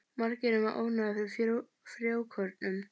Margir eru með ofnæmi fyrir frjókornum.